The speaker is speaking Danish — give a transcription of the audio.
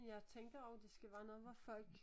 Jeg tænker også det skal være noget hvor folk